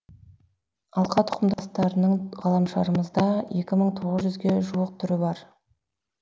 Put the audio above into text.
алқа тұқымдастардың ғаламшарымызда екі мың тоғыз жүзге жуық түрі бар